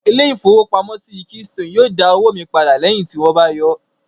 Ilé ìfowópamọ́ keystone yóò dá owó mi padà lẹ́yìn tí wón bá yọọ́